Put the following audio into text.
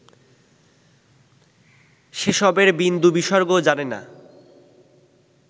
সেসবের বিন্দু-বিসর্গ জানে না